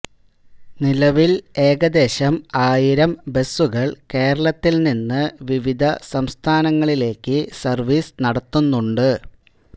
നിലവിൽ ഏകദേശം ആയിരം ബസുകൾ കേരളത്തിൽ നിന്ന് വിവിധ സംസ്ഥാനങ്ങളിലേക്കു സർവീസ് നടത്തുന്നുണ്ട്